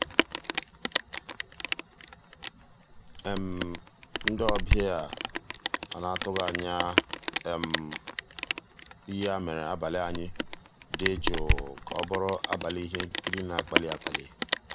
ndị́ ọ̀bịá á ná-àtụ́ghị́ ànyá um yá mérè àbàlí ànyị́ dị́ jụ́ụ́ ká ọ́ bụ́rụ́ àbàlí íhé nkírí ná-àkpàlí àkpàlí.